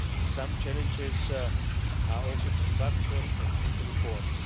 some challenges are also structural and need reforms.